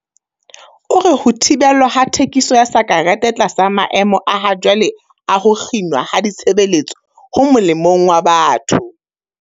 O re ho thibelwa ha thekiso ya sakerete tlasa maemo a hajwale a ho kginwa ha ditshebeletso ho molemong wa batho.